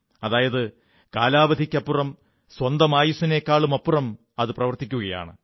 അതായത് കാലാവധിക്കപ്പുറം സ്വന്തം അയുസ്സിനേക്കാളുമപ്പുറം അത് പ്രവർത്തിക്കയാണ്